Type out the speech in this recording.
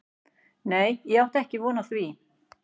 Nei ég átti ekki von á því.